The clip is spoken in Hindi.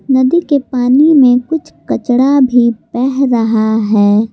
नदी के पानी में कुछ कचड़ा भी बह रहा है।